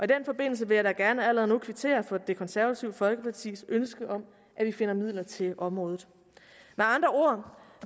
den forbindelse vil jeg da gerne allerede nu kvittere for det konservative folkepartis ønske om at vi finder midler til området med andre ord